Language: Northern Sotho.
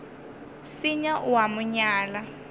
senya o a mo nyala